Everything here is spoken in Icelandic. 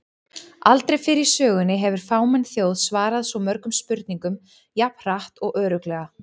Aldrei fyrr í sögunni hefur fámenn þjóð svarað svo mörgum spurningum jafn hratt og örugglega!